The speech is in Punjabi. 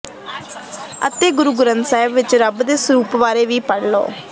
ਅਤੇ ਗੁਰੂ ਗ੍ਰੰਥ ਸਾਹਿਬ ਵਿਚ ਰੱਬ ਦੇ ਸਰੂਪ ਵਾਰੇ ਵੀ ਪੜ੍ਹ ਲਓ